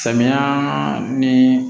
Samiya ni